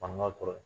Fanga kɔrɔ